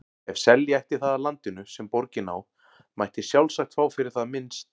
Ef selja ætti það af landinu, sem borgin á, mætti sjálfsagt fá fyrir það minnst